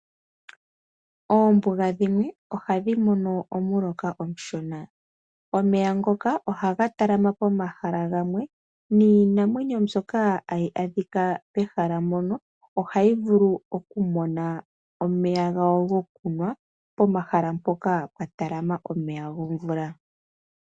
Oombuga dhimwe ohadhi mono omuloka omushona, omeya ngoka ohaga talama pomahala gamwe niinamwenyo mbyoka hayi adhika pehala mpono ohayi vulu okumona omeya gawo gokunwa pomahala mpoka pwa talama omeya gomvula.